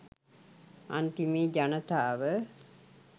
අන්තිමේ ජනතාව